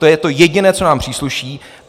To je to jediné, co nám přísluší.